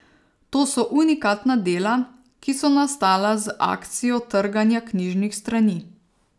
To so unikatna dela, ki so nastala z akcijo trganja knjižnih strani.